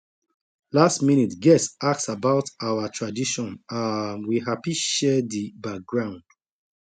last minute guest ask about our tradition um we happy share di background